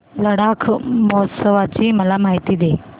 लडाख महोत्सवाची मला माहिती दे